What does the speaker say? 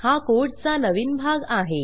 हा कोडचा नवीन भाग आहे